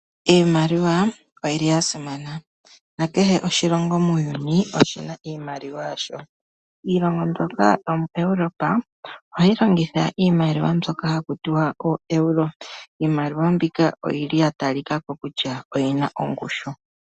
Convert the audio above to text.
Iimaliwa oyili ya simana nakehe oshilongo muuyuni, oshina iimaliwa yasho. Iilongo mbyoka yomo Europa ohayi longitha iimaliwa mbyoka haku tiwa ee Euro. Iimaliwa mbika oyili ya talikako kutya oyina ongushu.